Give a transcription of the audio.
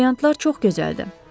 Brilyantlar çox gözəldir.